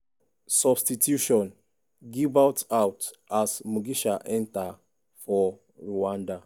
substitution' gibert out as mugisha enta for rwanda.